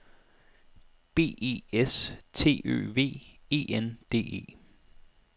B E S T Ø V E N D E